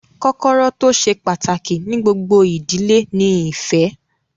Kọ́kọ́rọ́ tó ṣe pàtàkì ní gbogbo ìdílé ni ìfẹ́